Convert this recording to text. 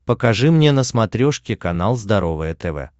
покажи мне на смотрешке канал здоровое тв